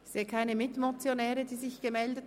Es haben sich keine Mitmotionäre gemeldet.